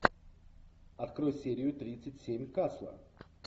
открой серию тридцать семь касла